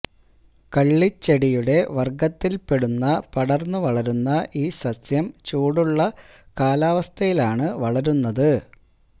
കള്ളിച്ചെടിയുടെ വര്ഗ്ഗത്തില്പ്പെടുന്ന പടര്ന്നു വളരുന്ന ഈ സസ്യം ചൂടുള്ള കാലാവസ്ഥയിലാണ് വളരുന്നത്